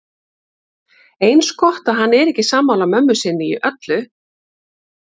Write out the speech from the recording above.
Eins gott að hann er ekki sammála mömmu sinni í öllu.